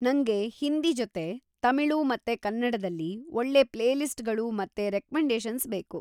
ನಂಗೆ ಹಿಂದಿ ಜೊತೆ ತಮಿಳು ಮತ್ತೆ ಕನ್ನಡದಲ್ಲಿ ಒಳ್ಳೆ ಪ್ಲೇಲಿಸ್ಟ್‌ಗಳು ಮತ್ತೆ ರೆಕ್ಮೆಂಡೇಷನ್ಸ್ ಬೇಕು.